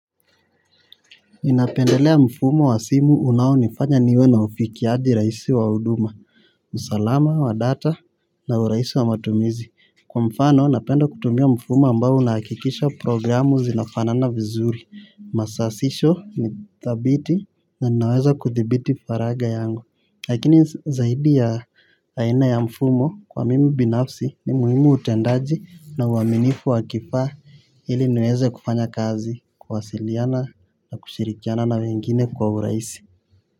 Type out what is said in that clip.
Imninapendelea mfumo wa simu unaonifanya niwe na ufikiaji rahisi wa huduma, usalama wa data na urahisi wa matumizi. Kwa mfano, napenda kutumia mfumo ambao unahakikisha programu zinafana na vizuri. Masasisho ni thabiti na naweza kuthibiti faraga yangu. Lakini zaidi ya aina ya mfumo kwa mimi binafsi ni muhimu utendaji na uaminifu wa kifaa ili niweze kufanya kazi kuwasiliana na kushirikiana na wengine kwa urahisi.